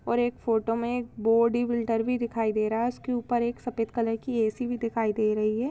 और एक फोटो मे बॉडीबिल्डर भी दिखाई दे रहा है उसके उपर सफेद कलर की ऐसी भी दिखाई दे रही है।